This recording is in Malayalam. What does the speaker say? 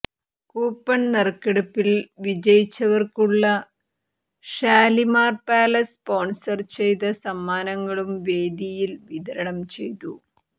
കൂപ്പൺ നറുക്കെടുപ്പിൽ വിജയിച്ചവർക്കുള്ള ഷാലിമാർ പാലസ് സ്പോൺസർ ചെയ്ത സമ്മാനങ്ങളും വേദിയിൽ വിതരണം ചെയ്തു